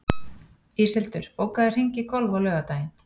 Íshildur, bókaðu hring í golf á laugardaginn.